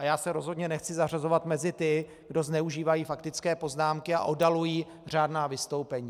A já se rozhodně nechci zařazovat mezi ty, kdo zneužívají faktické poznámky a oddalují řádná vystoupení.